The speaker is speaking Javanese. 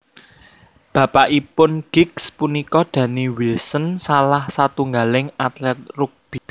Bapakipun Giggs punika Danny Wilson salah satunggaling atlet rugby